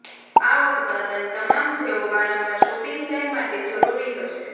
આ ઉત્પાદન તમામ જેઓ વારંવાર શોપિંગ જાય માટે જરૂરી હશે